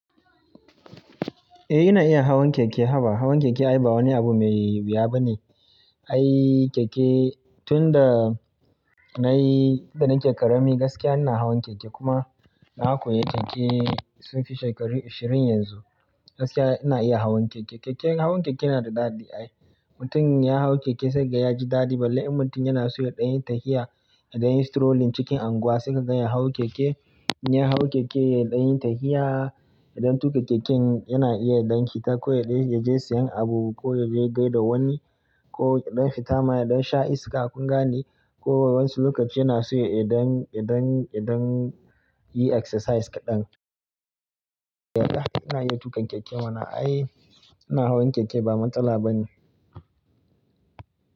Eh ina iya hawan keke haba. Hawan keke ai ba wani abu mai wuya ba ne. Ai keke tun da nayi, da nike ƙarami gaskiya ina hawan keke kuma na koyi keke sunfi shekaru ashirin yanzu. Gaskiya ina iya hawan keke. Keke, hawan keke yana da daɗi ai. Mutum ya hau keke sai ga ya ji daɗi balle inmutum yana so yaɗan yi tafiya, yaɗan yi strolling cikin anguwa sai ka gan ya hau keke. Ya hau keke yaɗan yi tafiya, yaɗan tuƙa keken yana iya yaɗan fita ko yaɗan ya je sayan abu ko ya je gaida wani ko yaɗan fita maye, yaɗan sha iska a kunga ne ko wasu lokaci yana so yaɗan, yaɗan, yaɗan yi exercise kaɗan. Yallaa ina iya tuƙa keke mana ai ina hawan keke ba matsala ba ne.